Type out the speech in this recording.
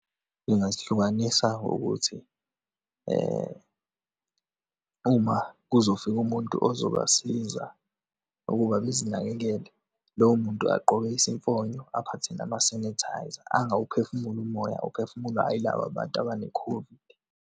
Ngingazihlukanisa ngokuthi, uma kuzofika umuntu ozobasiza ukuba bezinakekele, lowo muntu agqoke isimfonyo, aphathe nama-sanitiser, angawuphefumuli umoya ophefumulwa yilaba bantu abane-COVID.